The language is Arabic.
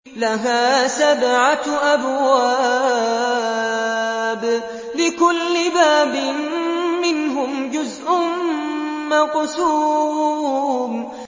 لَهَا سَبْعَةُ أَبْوَابٍ لِّكُلِّ بَابٍ مِّنْهُمْ جُزْءٌ مَّقْسُومٌ